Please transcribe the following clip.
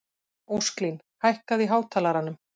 Ósklín, hækkaðu í hátalaranum.